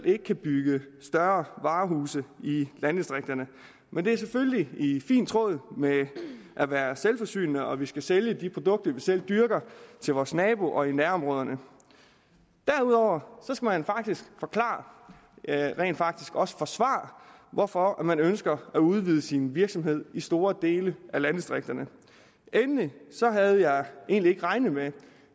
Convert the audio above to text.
ikke kan bygges større varehuse i landdistrikterne men det er selvfølgelig i fin tråd med at være selvforsynende og at vi skal sælge de produkter vi selv dyrker til vores nabo og i nærområderne derudover skal man faktisk forklare rent faktisk også forsvare hvorfor man ønsker at udvide sin virksomhed i store dele af landdistrikterne endelig havde jeg egentlig ikke regnet med